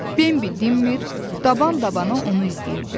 Bembi dinmir, daban-dabana onu izləyirdi.